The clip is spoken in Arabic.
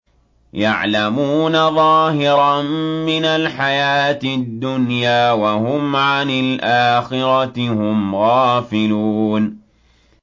يَعْلَمُونَ ظَاهِرًا مِّنَ الْحَيَاةِ الدُّنْيَا وَهُمْ عَنِ الْآخِرَةِ هُمْ غَافِلُونَ